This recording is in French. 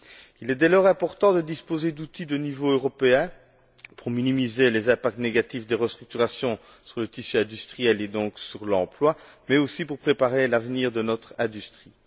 Il est dès lors important de disposer d'outils de niveau européen pour minimiser les impacts négatifs des restructurations sur le tissu industriel et donc sur l'emploi, mais aussi pour préparer l'avenir de notre industrie.